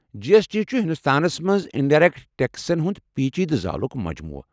جی S T چھُ ہندوستانس منٛز انڈایرٮ۪کٹ ٹٮ۪کسن ہُنٛد پیٖچیٖدٕ زالُک مجموٗعہٕ۔